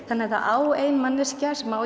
þannig að það á ein manneskja sem á